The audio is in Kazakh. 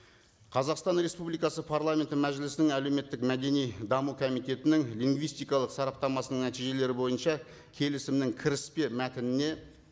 қазақстан республикасы парламенті мәжілісінің әлеуметтік мәдени даму комитетінің лингвистикалық сараптамасының нәтижелері бойынша келісімнің кіріспе мәтініне